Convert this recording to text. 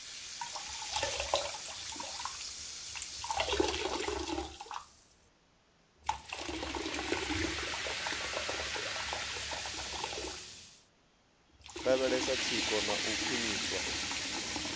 lavhelesa tsiko na u khwiniswa